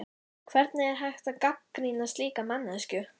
Hvernig er hægt að gagnrýna slíka manneskju?